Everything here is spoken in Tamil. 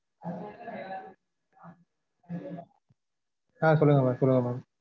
அஹ் சொல்லுங்க mam சொல்லுங்க mam